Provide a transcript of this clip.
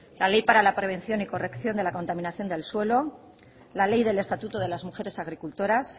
la ley para la prevención y corrección de la contaminación del suelo la ley del estatuto de las mujeres agricultoras